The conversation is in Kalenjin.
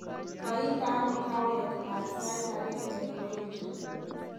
Kaindeno kaawek maat sait agenge ngoeche